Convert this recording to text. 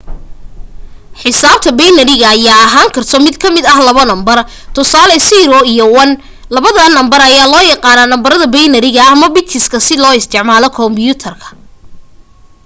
xisaabta binary ayaa lahaan karto mid kamida labo nambar tusaale 0 iyo 1 labadaan number ayaa loo yaqaana nambarada binary-ga ama bits si loogu isticmalo komyuutarka